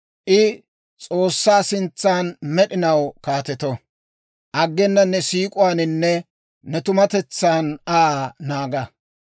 I S'oossaa sintsan med'inaw kaateto; aggena ne siik'uwaaninne ne tumatetsan Aa naaga.